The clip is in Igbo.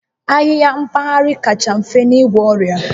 Ahịhịa mpaghara kacha mfe n'igwọ ọrịa